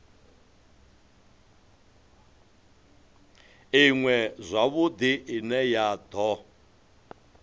iṅwe zwavhudi ine ya do